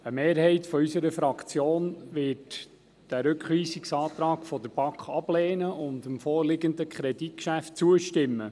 Eine Mehrheit unserer Fraktion wird den Rückweisungsantrag der BaK ablehnen und dem vorliegenden Kreditgeschäft zustimmen.